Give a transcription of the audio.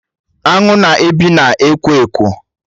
Aṅụ na-ebi na ekwo Ekwo